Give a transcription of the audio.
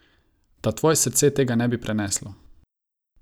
Da tvoje srce tega ne bi preneslo.